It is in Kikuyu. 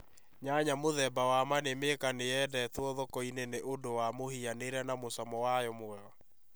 Nyanya mũthemba wa Manĩmĩka nĩ yendetũo thoko nĩ ũndũ wa mũhianĩre na mũcamo wayo mwega.